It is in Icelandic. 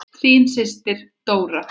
Þín systir, Dóra.